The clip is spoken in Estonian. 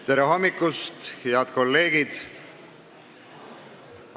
Tere hommikust, head kolleegid!